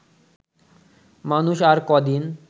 মানুষ আর কদিন